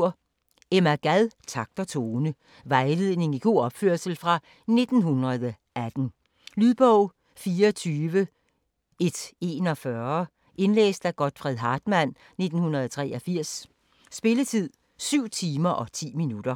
Gad, Emma: Takt og tone Vejledning i god opførsel fra 1918. Lydbog 24141 Indlæst af Godfred Hartmann, 1983. Spilletid: 7 timer, 10 minutter.